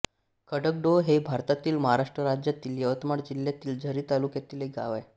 खडकडोह हे भारतातील महाराष्ट्र राज्यातील यवतमाळ जिल्ह्यातील झरी जामणी तालुक्यातील एक गाव आहे